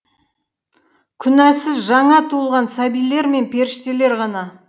күнәсіз жаңа туылған сәбилер мен періштелер ғана